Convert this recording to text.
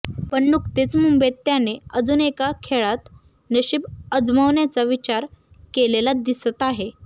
पण नुकतेच मुंबईत त्याने अजून एका खेळात नशिब आजमवण्याचा विचार केलेला दिसत आहे